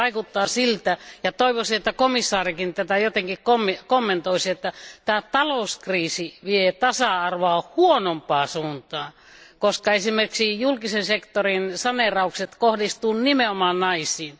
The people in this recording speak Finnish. Koska vaikuttaa siltä ja toivoisin, että komission jäsenkin tätä jotenkin kommentoisi että tämä talouskriisi vie tasa arvoa huonompaan suuntaan, koska esimerkiksi julkisen sektorin saneeraukset kohdistuvat nimenomaan naisiin.